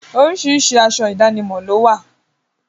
Oríṣiríṣi aṣọ ìdánimọ̀ lówà.